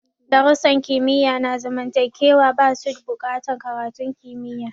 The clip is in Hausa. Darussan kimiyya na zamantakewa ba su bukatan karatun kimiyya.